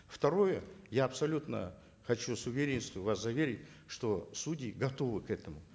второе я абсолютно хочу с уверенностью вас заверить что судьи готовы к этому